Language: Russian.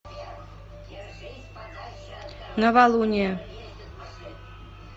новолуние